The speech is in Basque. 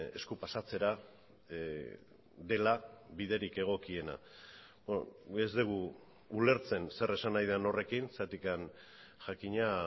esku pasatzera dela biderik egokiena ez dugu ulertzen zer esan nahi den horrekin zergatik jakina